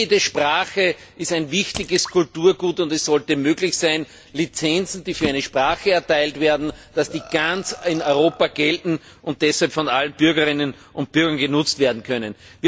Jede Sprache ist ein wichtiges Kulturgut, und es sollte möglich sein, dass Lizenzen, die für eine Sprache erteilt werden, in ganz Europa gelten und deshalb von allen Bürgerinnen und Bürgern genutzt werden können.